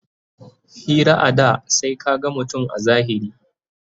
Hira a da sai ka gan mutum a zahiri